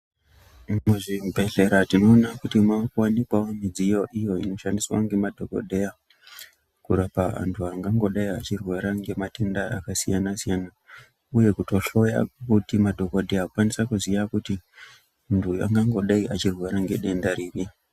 Muzvibhendlera tinoona kuti muri kuwanikwawo midziyo iyo inoshandiswa ngemadhokodheya kurapa antu angangodai achirwara ngematenda akasiyana siyana. Uye kutohloya kuti madhokodheya kutokwanisa kuziya kuti muntu angangodai achirwara ngedenda ripi.